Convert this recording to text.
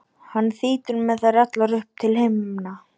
hann þýtur með þær allar upp til himna.